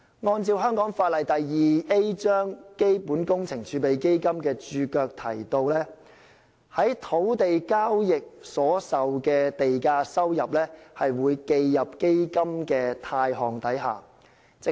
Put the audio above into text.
按照香港法例第 2A 章《基本工程儲備基金》註腳，從土地交易所收受的地價收入會記入基金的貸項下。